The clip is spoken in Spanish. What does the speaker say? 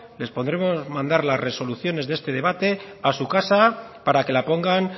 les podremos mandar las resoluciones de este debate a su casa para que la pongan